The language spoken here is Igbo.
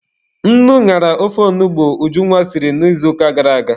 Nnu ñara ofe ọgbọnọ Ujunwa siri n'izuụka gara aga.